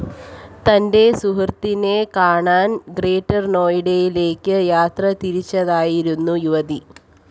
തന്റെ സുഹൃത്തിനെ കാണാൻ ഗ്രേറ്റർ നോയിഡയിലേക്ക് യാത്ര തിരിച്ചതായിരുന്നു യുവതി